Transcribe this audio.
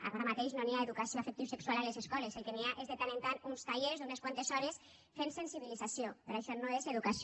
ara mateix no hi ha educació afectivosexual a les escoles el que hi ha és de tant en tant uns tallers d’unes quantes hores de sensibilització però això no és educació